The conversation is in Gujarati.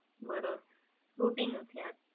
બરોબર, શૂટિંગ.